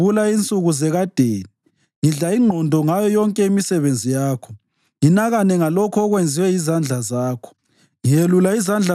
Ngiyazikhumbula insuku zekadeni; ngidla ingqondo ngayo yonke imisebenzi yakho nginakane ngalokho okwenziwe yizandla zakho.